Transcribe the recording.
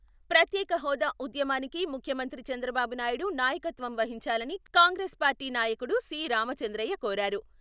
ప్రత్యేక హోదా ఉద్యమానికి ముఖ్యమంత్రి చంద్రబాబు నాయుడు నాయకత్వం వహించాలని కాంగ్రెస్ పార్టీ నాయకుడు సి.రామచంద్రయ్య కోరారు.